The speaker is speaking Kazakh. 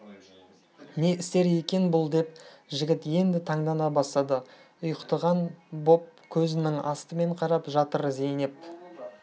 не істер екен бұл деп жігіт енді таңдана бастады ұйықтаған боп көзінің астымен қарап жатыр зейнеп